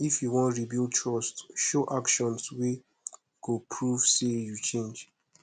if yu wan rebuild trust show actions wey go prove say yu change